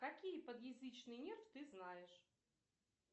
какие подъязычные нервы ты знаешь